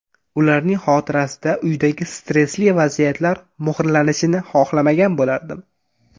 Ularning xotirasida uydagi stressli vaziyatlar muhrlanishini xohlamagan bo‘lardim”.